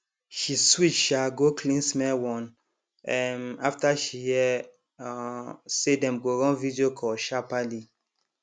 she switch um go cleansmell one um after she hear um say dem go run video call sharperly